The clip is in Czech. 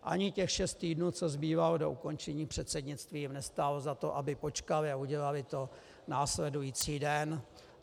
Ani těch šest týdnů, co zbývalo do ukončení předsednictví, jim nestálo za to, aby počkali, a udělali to následující den.